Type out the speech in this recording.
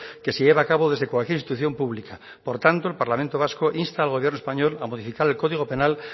que se lleva a cabo desde cualquier institución pública por tanto el parlamento vasco insta al gobierno español a modificar el código penal